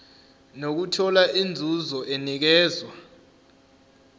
nokuthola inzuzo enikezwa